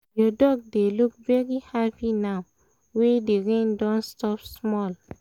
your dog dey look very happy now wey the rain don stop small